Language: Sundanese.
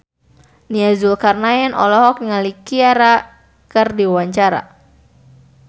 Nia Zulkarnaen olohok ningali Ciara keur diwawancara